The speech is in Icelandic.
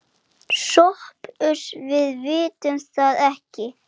SOPHUS: Við vitum það ekki.